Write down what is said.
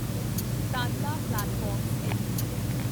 Tanla platforms LTD